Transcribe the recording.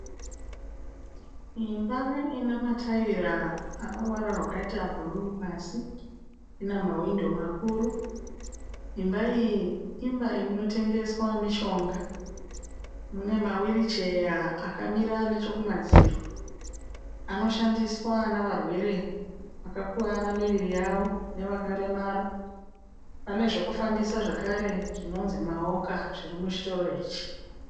Imba ina mataera ano ruvara rwakaita bhuruu pasi. Ina mawhindo makuru. Imba iyi, imba inotengeswa mishonga. Mune mawiricheya akamira nechokumadziro anoshandiswa nevarwere vakakuvara miviri yavo nevakaremara. Pane zvekufambisa zvakare zvinonzi mawoka zviri muchitoro ichi.